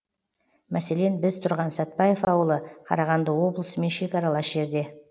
мәселен біз тұрған сәтбаев ауылы қарағанды облысымен шекаралас жерде